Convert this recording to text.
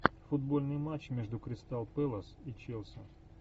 футбольный матч между кристал пэлас и челси